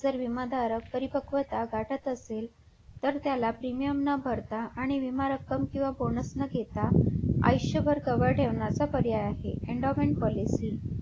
जर विमाधारक परिपकवता गाठत असेल तर त्याला premium न भरता आणि विमारक्कम किंवा बोनस न देता आयुष्य भर जवळ ठेवण्याचा पर्याय आहे endowment policy